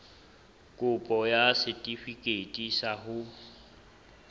kopo ya setefikeiti sa ho